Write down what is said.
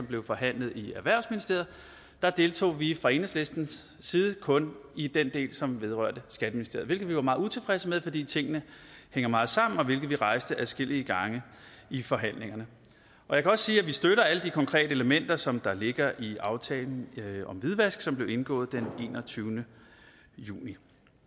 blev forhandlet i erhvervsministeriet deltog vi fra enhedslistens side kun i den del som vedrørte skatteministeriet det var vi meget utilfredse med fordi tingene hænger meget sammen og vi rejste det adskillige gange i forhandlingerne jeg kan også sige at vi støtter alle de konkrete elementer som ligger i aftalen om hvidvask som blev indgået den enogtyvende juni